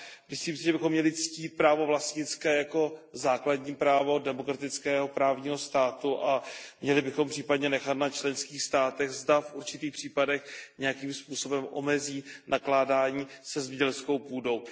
Myslím si, že bychom měli ctít právo vlastnické jako základní právo demokratického právního státu a měli bychom případně nechat na členských státech, zda v určitých případech nějakým způsobem omezí nakládání se zemědělskou půdou.